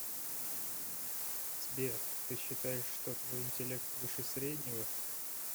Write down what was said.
сбер ты считаешь что твой интеллект выше среднего